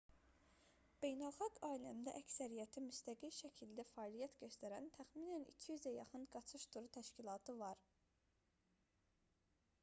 beynəlxalq aləmdə əksəriyyəti müstəqil şəkildə fəaliyyət göstərən təxminən 200-ə yaxın qaçış turu təşkilatı var